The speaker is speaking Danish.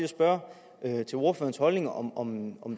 spørge til ordførerens holdning om om